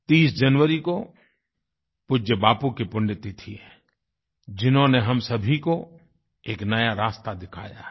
30 जनवरी को पूज्य बापू की पुण्यतिथि है जिन्होंने हम सभी को एक नया रास्ता दिखाया है